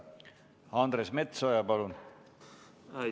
Andres Metsoja, palun!